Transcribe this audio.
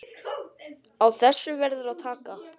Á þessu verður að taka.